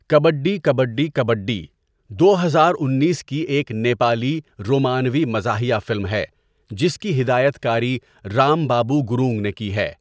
کبڈی کبڈی کبڈی دو ہزار انیس کی ایک نیپالی رومانوی مزاحیہ فلم ہے جس کی ہدایت کاری رام بابو گرونگ نے کی ہے۔